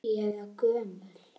Finnst þér ég vera gömul?